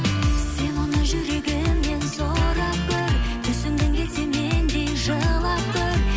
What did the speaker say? сен оны жүрегіңнен сұрап көр түсінгің келсе мендей жылап көр